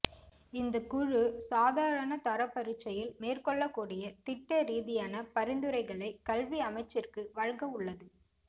இந்த குழு சாதாரண தர பரீட்சையில் மேற்கொள்ளக் கூடிய திட்ட ரீதியான பரிந்துரைகளை கல்வி அமைச்சிற்கு வழங்கவுள்ளது